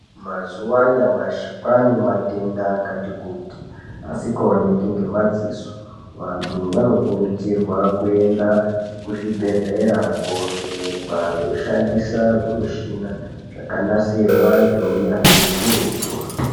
Mazuwanyamashe kwanematenda akati kuti asikawoneki ngemadziso. Vantu vanokurudzirwa kuyenda kuzvibhedhlera kovhenekwa veyishandisa zvimishina zvakanasirwa ngewunyazvi wukurutu.